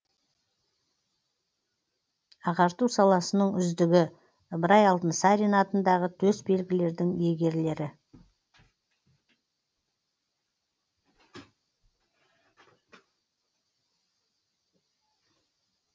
ағарту саласының үздігі ыбырай алтынсарин атындағы төсбелгілердің иегерлері